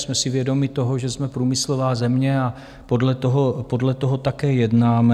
Jsme si vědomi toho, že jsme průmyslová země, a podle toho také jednáme.